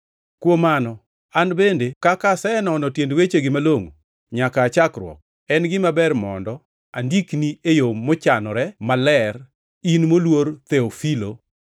Kuom mano, an bende kaka asenono tiend wechegi malongʼo nyaka aa chakruok, en gima ber bende mondo andikni e yo mochanore maler, in moluor Theofilo,